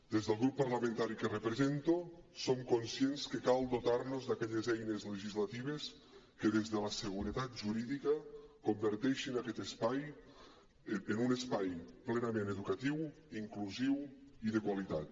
des del grup parlamentari que represento som conscients que cal dotar nos d’aquelles eines legislatives que des de la seguretat jurídica converteixin aquest espai en un espai plenament educatiu inclusiu i de qualitat